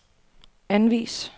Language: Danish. anvis